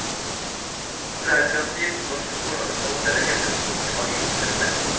Fra autoritativt norsk forlagshold ble det hevdet at boken var uoversettelig.